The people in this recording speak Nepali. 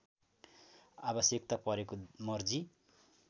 आवश्यकता परेको मर्जी